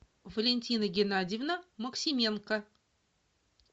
валентина геннадьевна максименко